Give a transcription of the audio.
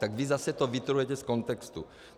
Tak vy zase to vytrhujete z kontextu.